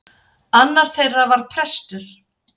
Annar þeirra var prestur.